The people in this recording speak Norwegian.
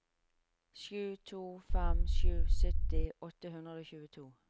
sju to fem sju sytti åtte hundre og tjueto